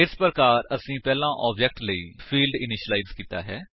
ਇਸ ਪ੍ਰਕਾਰ ਅਸੀਂ ਪਹਿਲਾਂ ਆਬਜੇਕਟ ਲਈ ਫਿਲਡ ਇਨੀਸ਼ਿਲਾਇਜ ਕੀਤਾ ਹੈ